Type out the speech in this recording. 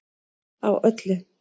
Á öllu